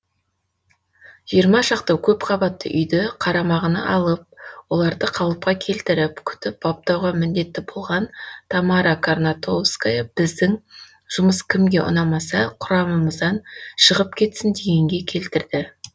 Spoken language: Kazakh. жиырма шақты көпқабатты үйді қарамағына алып оларды қалыпқа келтіріп күтіп баптауға міндетті болған тамара карнатовская біздің жұмыс кімге ұнамаса құрамымыздан шығып кетсін дегенге келтірді